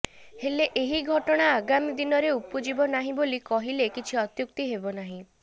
ହେଲେ ଏହି ଘଟଣା ଆଗାମୀ ଦିନରେ ଉପୁଜିବ ନାହିଁ ବୋଲି କହିଲେ କିଛି ଅତ୍ୟୁକ୍ତି ହେବ ନାହିଁ